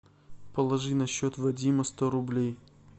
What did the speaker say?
положи на счет вадима сто рублей